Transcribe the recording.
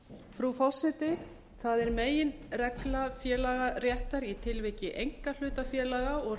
frú forseti það er meginregla félagaréttar í tilviki einkahlutafélaga og